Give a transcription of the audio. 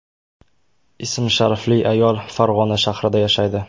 ism-sharifli ayol Farg‘ona shahrida yashaydi.